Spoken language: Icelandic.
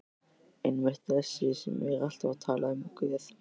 Einmitt- þessi sem er alltaf að tala um Guð.